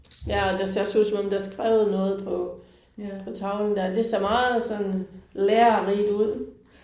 Ja og det ser også ud som om der er skrevet noget på på tavlen der, det ser meget sådan lærerigt ud